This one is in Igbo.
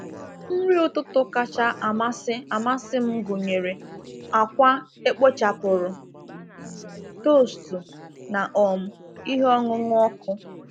Nri ụtụtụ kacha amasị amasị m gụnyere akwa e kpochapụrụ, toostu, na um ihe ọṅụṅụ ọkụ.